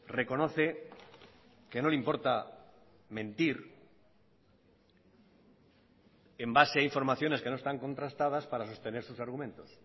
reconoce que no le importa mentir en base a informaciones que no están contrastadas para sostener sus argumentos